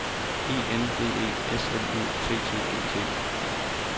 I N D E S L U T T E T